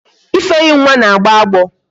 Ifeyinwa na-agbo agbọ